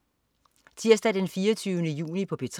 Tirsdag den 24. juni - P3: